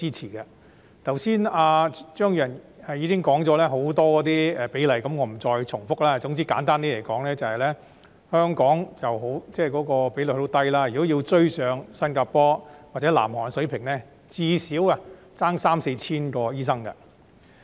張宇人議員剛才已經談及很多比例問題，我不再重複，總之簡單而言，香港的醫生比率十分低，如果要追上新加坡或南韓水平，最少差三四千名醫生。